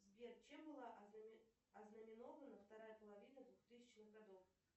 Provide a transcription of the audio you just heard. сбер чем была ознаменована вторая половина двухтысячных годов